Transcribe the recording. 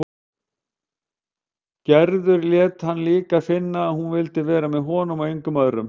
Gerður lét hann líka finna að hún vildi vera hjá honum og engum öðrum.